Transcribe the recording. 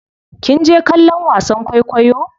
Kinje kallon wasan kwaikwayo?